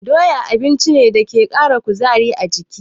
Doya abinci ne dake ƙara kuzari a jiki.